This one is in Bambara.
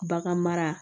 Bagan mara